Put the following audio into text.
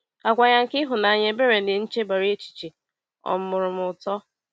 Àgwà ya nke ịhụnanya, ebere, na nchebara echiche um mụụrụ m ụtọ.